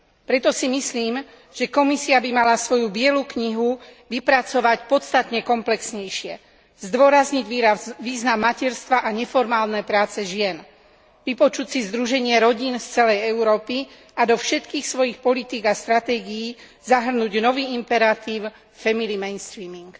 Preto si myslím, že Komisia by mala svoju bielu knihu vypracovať podstatne komplexnejšie, zdôrazniť význam materstva a neformálnej práce žien, vypočuť si Združenie rodín z celej Európy a do všetkých svojich politík a stratégií zahrnúť nový imperatív family mainstreaming.